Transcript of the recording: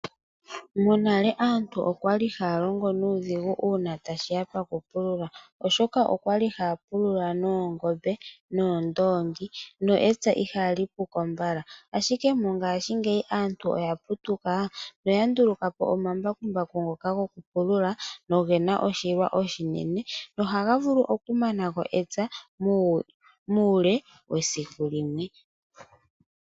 Monale aantu okwa li haya longo nuudhigu uuna tashiya poku pulula. Oshoka okwa li haya pulula noongombe, noondoongi. No epya iha li puko mbala. Ashike mongashiingeyi aantu oya putuka, noya nduluka po omambakumbaku, ngoka goku pulula no gena oshilwa oshinene. Noha ga vulu oku nanako epya muule wesiku limwe.